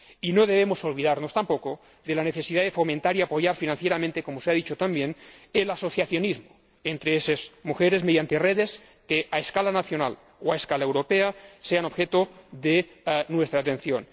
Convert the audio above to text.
No debemos olvidarnos tampoco de la necesidad de fomentar y apoyar financieramente ―como se ha dicho también― el asociacionismo entre esas mujeres mediante redes que, a escala nacional o a escala europea, sean objeto de nuestra atención.